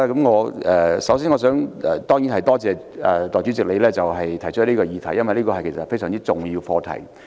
我首先多謝你動議這項議案，因為這涉及一項非常重要的課題。